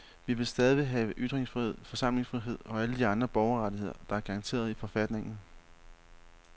Vi vil stadig have ytringsfrihed, forsamlingsfrihed og alle de andre borgerrettigheder, der er garanteret i forfatningen.